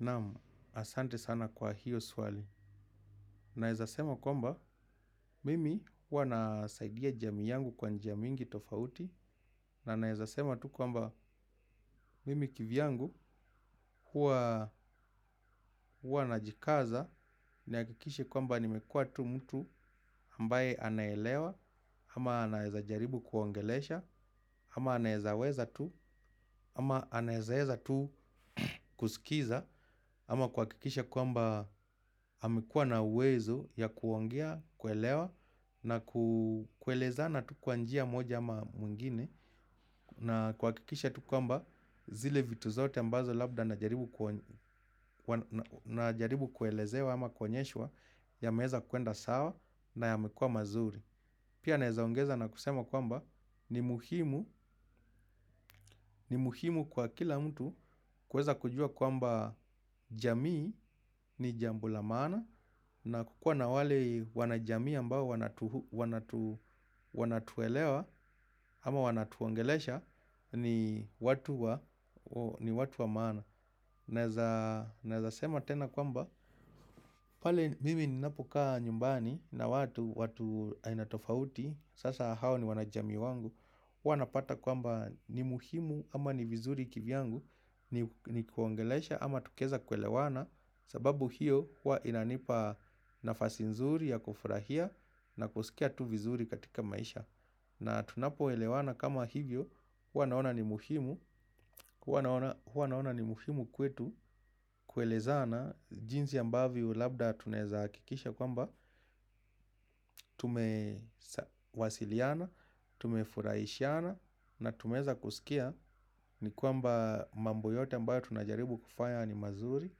Namu asante sana kwa hiyo swali. Naezasema kwamba mimi huwa nasaidia jamii yangu kwa njia mingi tofauti. Na naezasema tu kwamba mimi kivyangu huwa huwa najikaza. Niakikishe kwamba nimekua tu mtu ambaye anaelewa ama anaezajaribu kuwaongelesha ama anaezaweza tu ama anaezaeza tu kusikiza ama kuwakikisha kwamba amekuwa na uwezo ya kuongea, kuelewa na kuelezana tu kwa njia moja ama mwingine. Na kuwakikisha tu kwamba zile vitu zote ambazo labda najaribu kuelezewa ama kuonyeshwa yameweza kuenda sawa na yamekua mazuri. Pia naezaongeza na kusema kwamba ni muhimu kwa kila mtu kuweza kujua kwamba jamii ni jambo la maana na kukua na wale wanajamii ambao wanatuelewa ama wanatuongelesha ni watu wa maana. Naeza sema tena kwamba pale mimi ninapokaa nyumbani na watu ainatofauti. Sasa hao ni wanajamii wangu huwa napata kwamba ni muhimu ama ni vizuri kivyangu ni kuongelesha ama tukieza kuelewana. Sababu hiyo huwa inanipa nafasi nzuri ya kufurahia na kusikia tu vizuri katika maisha. Na tunapo elewana kama hivyo. Hua naona ni muhimu. Huwa naona ni muhimu kwetu kuelezana jinsi ambavyo labda tunaeza akikisha kwamba tumewasiliana, tumefuraishana na tumeweza kusikia ni kwamba mambo yote ambayo tunajaribu kufanya ni mazuri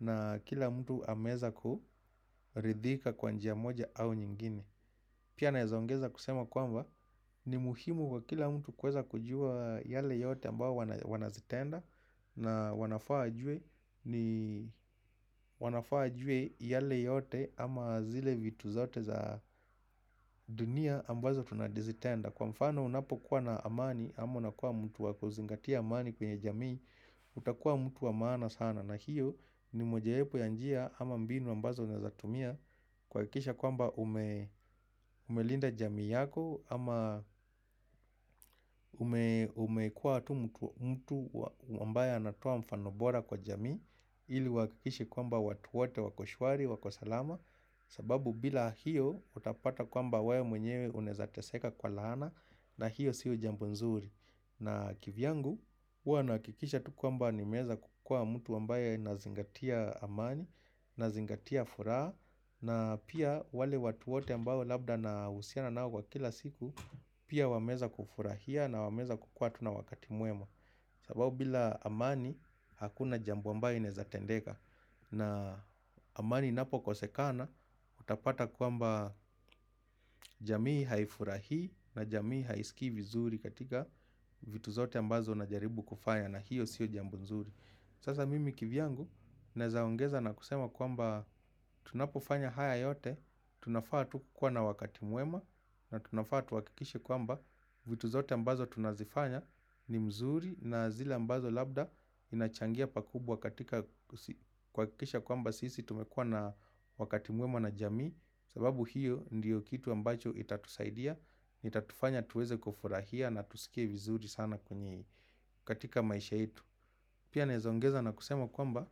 na kila mtu ameweza kuridhika kwa njia moja au nyingine. Pia naezongeza kusema kwamba ni muhimu kwa kila mtu kuweza kujua yale yote ambao wanazitenda na wanafaa wajue yale yote ama zile vitu zote za dunia ambazo tunazitenda. Kwa mfano unapo kuwa na amani, ama unakuwa mtu waku zingatia amani kwenye jamii, utakuwa mtu wa maana sana na hiyo ni mojawepo ya njia ama mbinu ambazo unaezatumia kuwakikisha kwamba umelinda jamii yako ama umekuwa tu mtu mtu ambaye anatoa mfano bora kwa jamii. Ili uwakikishe kwamba watu wote wako shwari wako salama. Sababu bila hiyo utapata kwamba wew mwenyewe unaeza teseka kwa laana. Na hiyo sio jambu nzuri. Na kivyangu huwa naakikisha tu kwamba nimeweza kukua mtu ambaye nazingatia amani. Na zingatia furaha. Na pia wale watu wote ambao labda na uhusiana nao kwa kila siku. Pia wameweza kufurahia na wameweza kukua tu na wakati mwema. Sababu bila amani hakuna jambo ambayo inaeza tendeka na amani inapo kosekana utapata kwamba jamii haifurahi na jamii haisiki vizuri katika vitu zote ambazo najaribu kufanya na hiyo siyo jambo nzuri. Sasa mimi kivyangu nezaongeza na kusema kwamba tunapofanya haya yote, tunafaa tu kuwa na wakati mwema na tunafaa tuwakikishe kwamba vitu zote ambazo tunazifanya ni mzuri na zile ambazo labda inachangia pakubwa katika kuwakikisha kwamba sisi tumekua na wakati mwema na jamii. Sababu hiyo ndiyo kitu ambacho itatusaidia, itatufanya tuweze kufurahia na tusikie vizuri sana katika maisha yetu. Pia naezoneza na kusema kwamba,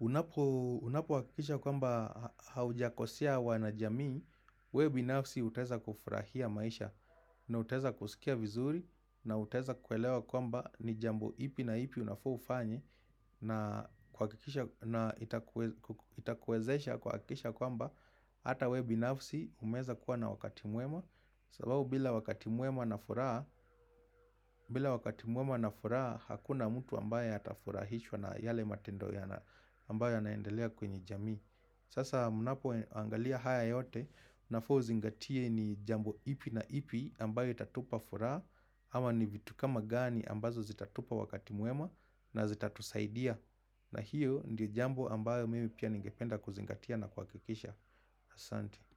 unapo hakikisha kwamba haujakosea wana jamii, wewe binafsi utaweza kufurahia maisha na utaweza kusikia vizuri na utaweza kuelewa kwamba ni jambo ipi na ipi unafaa ufanye na itakuwezesha kuwakikisha kwamba hata wewe binafsi umeweza kuwa na wakati mwema. Sababu bila wakati mwema na furaha bila wakati mwema na furaha hakuna mtu ambaye atafurahishwa na yale matendo ya ambaye yanaendelea kwenye jami. Sasa mnapo angalia haya yote unafa uzingatie ni jambo ipi na ipi ambaye itatupa furaha. Ama ni vitu kama gani ambazo zitatupa wakati mwema na zitatusaidia. Na hiyo ndi jambo ambaye mimi pia ningependa kuzingatia na kuwakikisha. Asante.